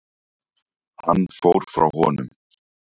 Hann fór frá honum.